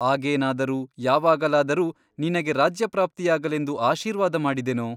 ಆಗೇನಾದರೂ ಯಾವಾಗಲಾದರೂ ನಿನಗೆ ರಾಜ್ಯಪ್ರಾಪ್ತಿಯಾಗಲೆಂದು ಆಶೀರ್ವಾದ ಮಾಡಿದೆನೋ?